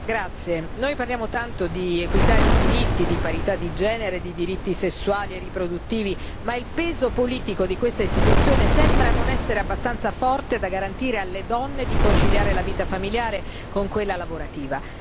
Signor Presidente, onorevoli colleghi, noi parliamo tanto di equità, di diritti, di parità di genere, di diritti sessuali e riproduttivi, ma il peso politico di questa istituzione sembra non essere abbastanza forte da garantire alle donne di conciliare la vita familiare con quella lavorativa.